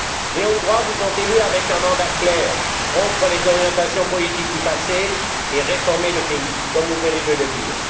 Les Hongrois vous ont élu avec un mandat clair rompre les orientations politiques du passé et réformer le pays, comme vous venez de le dire.